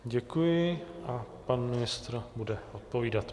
Děkuji a pan ministr bude odpovídat.